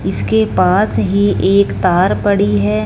इसके पास ही एक तार पड़ी है।